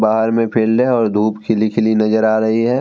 बाहर में फील्ड है और धूप खिली-खिली नजर आ रही है।